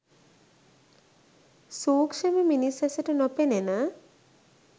සූක්‍ෂම මිනිස් ඇසට නොපෙනෙන